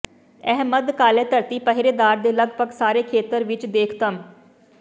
ਇਹ ਮੱਧ ਕਾਲੇ ਧਰਤੀ ਪਹਿਰੇਦਾਰ ਦੇ ਲਗਭਗ ਸਾਰੇ ਖੇਤਰ ਵਿੱਚ ਦੇਖ਼ਤਮ